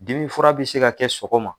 Dimi fura bi se ka kɛ sogoma